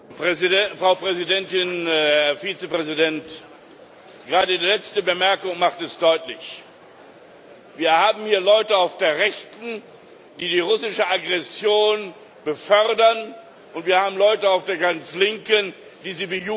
Frau Präsidentin, Herr Vizepräsident! Gerade Ihre letzte Bemerkung macht es deutlich Wir haben hier Leute auf der Rechten, die die russische Aggression befördern, und wir haben Leute auf der äußersten Linken, die sie bejubeln.